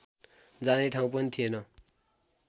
जाने ठाउँ पनि थिएन